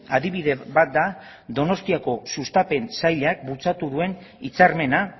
adibide bat da donostiako sustapen sailak bultzatu duen hitzarmena